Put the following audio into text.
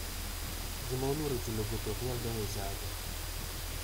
Ji ma oluoro chulo gope ok nyal donjo e chadi.